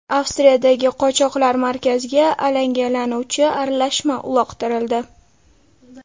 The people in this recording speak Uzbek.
Avstriyadagi qochoqlar markaziga alangalanuvchi aralashma uloqtirildi.